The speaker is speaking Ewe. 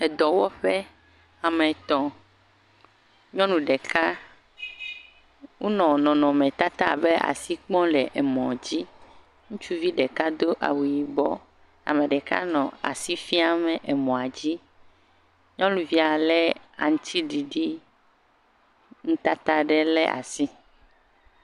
edɔwɔƒe ame tɔ̃ nyɔŋu ɖeka wónɔ nɔnɔme tata abe asi kpɔm le emɔ dzi ŋutsuvi ɖeka dó awu yibɔ ameɖeka nɔ asi fiam emɔ dzi nyɔvia le aŋtsiɖiɖi ŋutata ɖe le asi